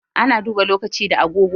Ana duba lokaci da agogo.